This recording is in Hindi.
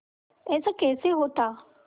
ऐसा कैसे होता